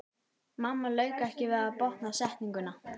Mamma lauk ekki við að botna setninguna.